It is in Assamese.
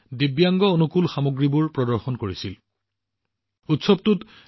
দিব্যাং বন্ধুত্বপূৰ্ণ সামগ্ৰীবোৰ তেওঁলোকৰহৈ প্ৰদৰ্শন কৰা হৈছিল